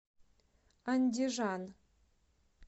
андижан